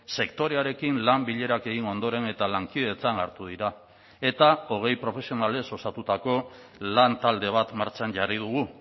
sektorearekin lan bilerak egin ondoren eta lankidetzan hartu dira eta hogei profesionalez osatutako lantalde bat martxan jarri dugu